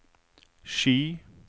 Ski